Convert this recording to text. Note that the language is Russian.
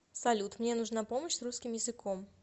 салют мне нужна помощь с русским языком